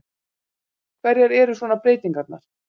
Hverjar eru svona breytingarnar?